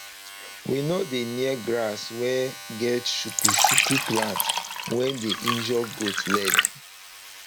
we nor dey near grass wey get chuku chuku plant wey dey injure goat leg